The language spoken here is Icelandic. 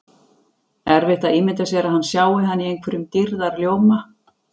Erfitt að ímynda sér að hann sjái hana í einhverjum dýrðarljóma.